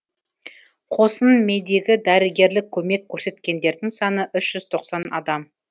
қосын медигі дәрігерлік көмек көрсеткендердің саны үш жүз тоқсан адам